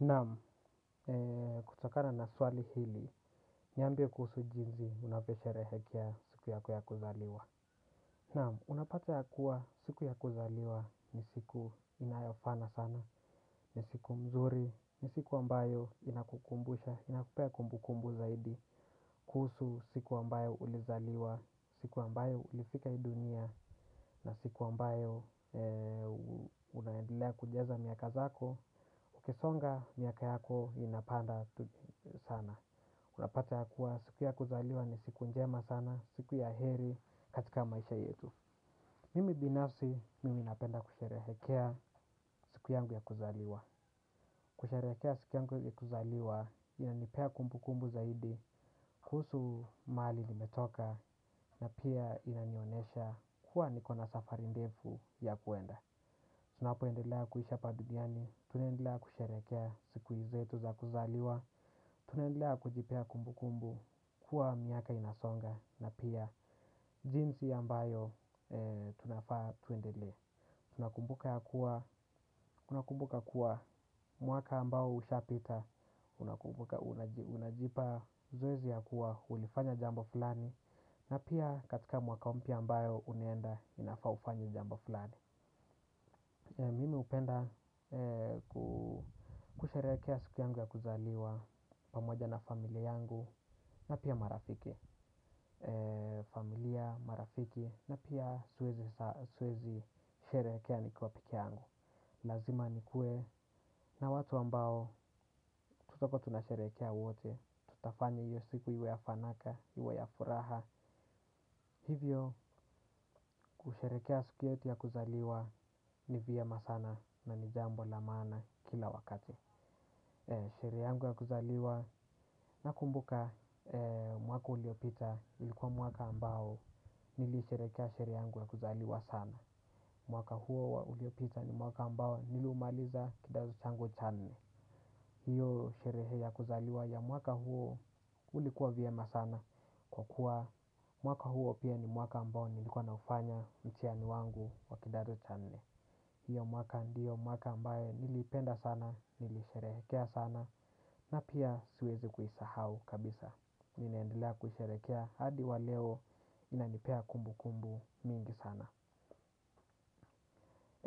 Naam, kutokana na swali hili, niambie kuhusu jinsi, unavyoshrehekea siku yako ya kuzaliwa. Naam, unapata ya kuwa siku ya kuzaliwa ni siku inayofana sana, ni siku mzuri, ni siku ambayo inakukumbusha, inakupea kumbukumbu zaidi, kuhusu siku ambayo ulizaliwa, siku ambayo ulifika hii dunia, na siku ambayo unaendelea kujaza miaka zako, ukisonga miaka yako inapanda sana. Unapata ya kuwa siku ya kuzaliwa ni siku njema sana. Siku ya heri katika maisha yetu. Mimi binafsi mimi napenda kusherehekea siku yangu ya kuzaliwa. Kusherehekea siku yangu ya kuzaliwa inanipea kumbukumbu zaidi. Kuhusu mahali nimetoka na pia inanionyesha kuwa niko na safari ndefu ya kwenda. Tunapoendelaa kuisha hapa duniani tunaendelea kusherekea siku zetu za kuzaliwa. Tunaendelea kujipea kumbukumbu kuwa miaka inasonga. Na pia jinsi ambayo tunafaa twendelee. Tunakumbuka kuwa mwaka ambao ushapita unajipa zoezi ya kuwa ulifanya jambo fulani. Na pia katika mwaka mpya ambayo unaenda inafaa ufanye jambo fulani. Mimi hupenda kusherekea siku yangu ya kuzaliwa pamoja na familia yangu na pia marafiki. Familia, marafiki na pia siwezi sherekea nikuwa pekee yangu. Lazima nikue na watu ambao tuko na tunasherekea wote. Tutafanya hiyo siku iwe ya fanaka, iwe ya furaha. Hivyo kusherekea siku yetu ya kuzaliwa ni vyema sana na ni jambo la maana kila wakati. Sherehe yangu ya kuzaliwa nakumbuka mwaka uliopita ilikuwa mwaka ambao nilisherekea sherehe yangu ya kuzaliwa sana. Mwaka huo uliopita ni mwaka ambao niliumaliza kidato changu cha nne. Hiyo sherehe ya kuzaliwa ya mwaka huo ulikuwa vyema sana kwa kuwa mwaka huo pia ni mwaka ambao nilikuwa naufanya mtihani wangu wa kidato cha nne. Hiyo mwaka ndiyo mwaka ambaye nilipenda sana, nilisherehekea sana na pia siwezi kuisahau kabisa. Ninaendelea kusherekea hadi wa leo inanipea kumbukumbu mingi sana.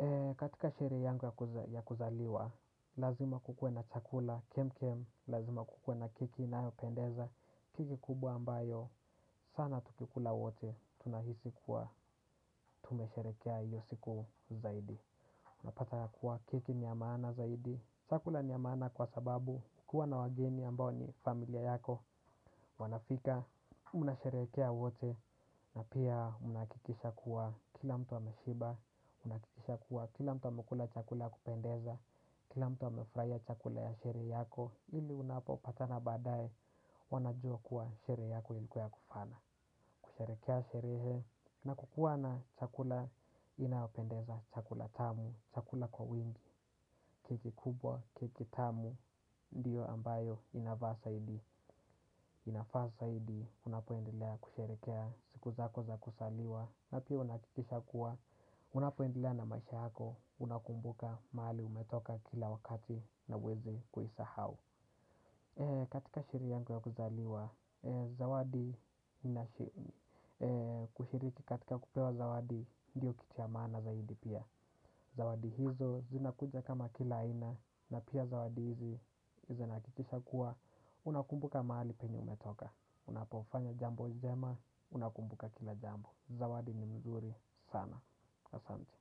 Eee, katika sherehe yangu ya kuzaliwa, lazima kukuwe na chakula, kem kem, lazima kukuwe na keki inayopendeza, keki kubwa ambayo, sana tukikula wote, tunahisi kuwa, tumesharekea hiyo siku zaidi. Unapata ya kuwa keki ni ya mana zaidi. Chakula ni ya maana kwa sababu kukua na wageni ambao ni familia yako wanafika mnasherekea wote na pia unahakikisha kuwa kila mtu wameshiba. Unakikisha kuwa kila mtu wamekula chakula kupendeza. Kila mtu amefurahia chakula ya sherehe yako ili unapopatana baadaye. Wanajua kuwa sherehe yako ilikuwa ya kufana. Kusherekea sherehe na kukua na chakula inapendeza chakula tamu chakula kwa wingi, keki kubwa, keki tamu. Ndiyo ambayo inafaa zaidi. Inafaa zaidi, unapoendelea kusherekea siku zako za kuzaliwa na pia unahakikisha kuwa unapoendelea na maisha yako unakumbuka mahali umetoka kila wakati na huweze kuisahau. Katika sherehe yangu ya kuzaliwa zawadi kushiriki katika kupewa zawadi ndiyo kitu cha maana zaidi pia. Zawadi hizo zinakuja kama kila aina na pia zawadi hizi izinahakikisha kuwa unakumbuka mahali penye umetoka unapofanya jambo jema unakumbuka kila jambo. Zawadi ni mzuri sana. Asante.